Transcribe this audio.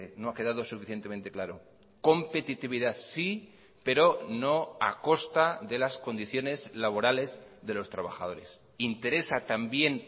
no ha quedado suficientemente claro competitividad sí pero no a costa de las condiciones laborales de los trabajadores interesa también